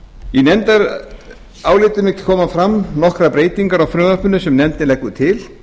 í nefndarálitinu koma fram nokkrar breytingar á frumvarpinu sem nefndin leggur til